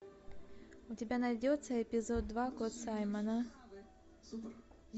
у тебя найдется эпизод два кот саймона